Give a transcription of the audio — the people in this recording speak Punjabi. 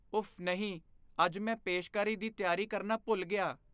ਉਫ਼ ਨਹੀਂ! ਅੱਜ ਮੈਂ ਪੇਸ਼ਕਾਰੀ ਦੀ ਤਿਆਰੀ ਕਰਨਾ ਭੁੱਲ ਗਿਆ।